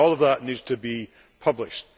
And all of that needs to be published.